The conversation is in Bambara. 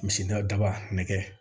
Misi daba nɛgɛ